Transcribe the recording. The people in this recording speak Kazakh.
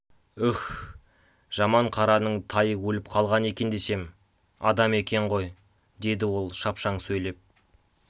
уһ жаманқараның тайы өліп қалған екен десем адам екен ғой деді ол шапшаң сөйлеп